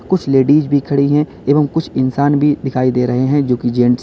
कुछ लेडिस भी खड़ी हैं एवं कुछ इंसान भी दिखाई दे रहे हैं जो की जेंट्स --